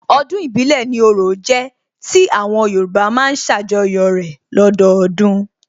Ọdún ìbílẹ̀ ni orò jẹ́ tí àwọn Yorùbá má ń ṣàjọyọ̀ rẹ̀ lọ́dọdún